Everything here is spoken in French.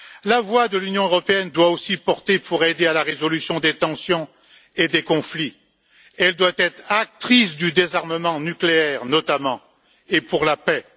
La voix de l'Union européenne doit aussi porter pour aider à la résolution des tensions et des conflits, elle doit être actrice du désarmement nucléaire notamment, et pour la paix.